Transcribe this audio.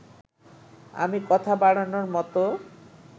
আমি কথা বাড়ানোর মতো